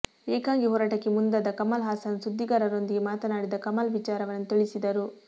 ಏಕಾಂಗಿ ಹೋರಾಟಕ್ಕೆ ಮುಂದಾದ ಕಮಲ್ ಹಾಸನ್ ಸುದ್ದಿಗಾರೊಂದಿಗೆ ಮಾತನಾಡಿದ ಕಮಲ್ ವಿಚಾರವನ್ನು ತಿಳಿಸಿದರು